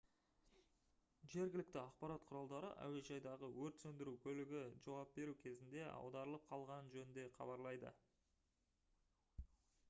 жергілікті ақпарат құралдары әуежайдағы өрт сөндіру көлігі жауап беру кезінде аударылып қалғаны жөнінде хабарлайды